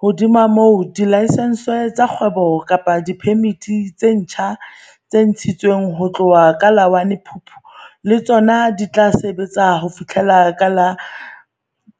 Hodima moo, dilaesense tsa kgwebo kapa diphemiti tse ntjha tse ntshi tsweng ho tloha ka la 1 Phupu le tsona di tla sebetsa ho fihlela ka la